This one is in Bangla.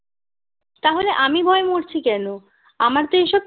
তাহলে আমি ভয়ে মরছি কেন আমার তো এ সব